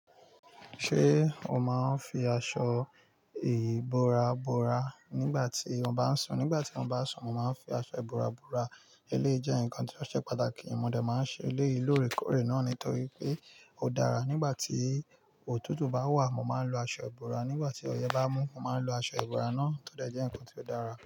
Ṣé o má ń fi aṣọ ìbora bora nígbà tí ó bá ń sùn? Nígbà tí mo bá sùn, mo má ń fi aṣọ ìbora bora. Eléyii jẹ́ nǹkan ti o ṣe pàtàkì. Mo de má ń ṣe eleyiu l'oorekoorè náà nítorí pé ó dára. Nígbà tí òtútù bá wà, mo má ń lo aṣọ ìbora. Nígbà tí ọyẹ́ bá mú, mo máa ń lo aṣọ ìbora náà tó de jẹ́ ǹkan ti o dára.